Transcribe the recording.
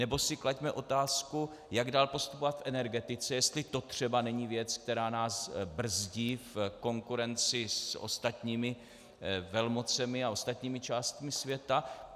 Nebo si klaďme otázku, jak dál postupovat v energetice, jestli to třeba není věc, která nás brzdí v konkurenci s ostatními velmocemi a ostatními částmi světa.